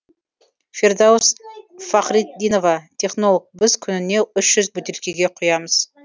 фирдаус фахритдинова технолог біз күніне үш жүз бөтелкеге құямыз